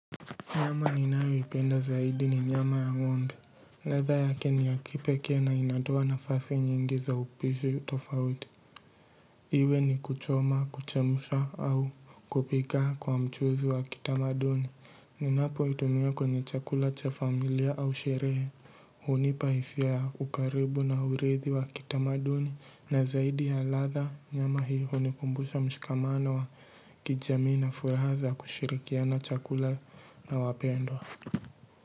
Nyama ninayoipenda zaidi ni nyama ya ng'ombe. Ladha yake ni ya kipekea na inatoa nafasi nyingi za upishi tofauti. Iwe ni kuchoma, kuchemusha au kupika kwa mchuzi wa kitamaduni. Ninapoitumia kwenye chakula cha familia au sherehe. Hunipa hisia ya ukaribu na hurithi wa kitamaduni. Na zaidi ya ladha nyama hii hunikumbusha mshikamano wa kijamii na furaha za kushirikiana chakula na wapendwa.